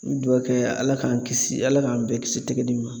An bɛ dugawu kɛ Ala k'an kisi Ala k'an bɛɛ kisi tɛgɛdimi ma